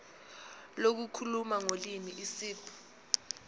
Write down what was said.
lokukhuluma ngolimi isib